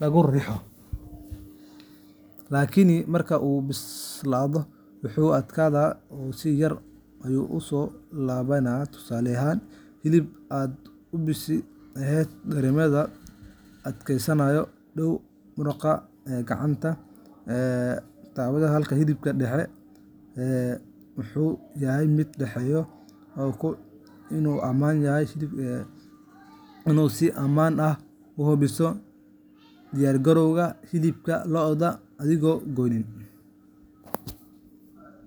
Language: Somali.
lagu riixo, laakiin marka uu bislaado wuu adkaadaa oo si yar ayuu u soo laabanayaa. Tusaale ahaan, hilib aad u bisil ayaa dareemaya adkaansho u dhow muruqa gacanta marka la taabto, halka hilibka dhexe ama uu yahay mid u dhexeeya adkaanta iyo jilicsanaanta. Hababkan ayaa kaa caawinaya inaad si ammaan ah u hubiso diyaargarowga hilibka lo’da adigoon goynin.